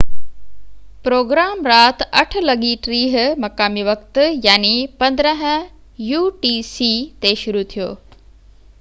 programme رات 8:30 مقامي وقت 15.00 utc تي شروع ٿيو